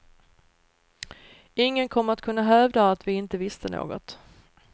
Ingen kommer att kunna hävda att vi inte visste något.